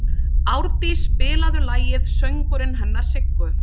Árdís, spilaðu lagið „Söngurinn hennar Siggu“.